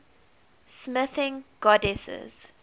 smithing goddesses